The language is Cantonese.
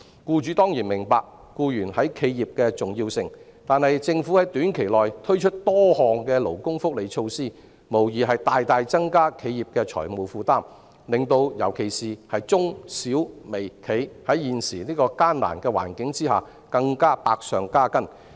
僱主當然明白僱員對企業重要，但是，政府在短期內推出多項勞工福利措施，無疑大大增加企業的財務負擔，令尤其是中小微企在現時的艱難環境下更百上加斤。